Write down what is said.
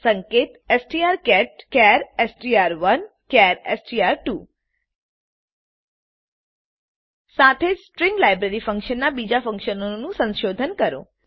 સંકેત strcatચાર એસટીઆર1 ચાર એસટીઆર2 સાથે જ સ્ટ્રીંગ લાઈબ્રેરીમાંનાં બીજા ફંકશનોનું સંશોધન કરો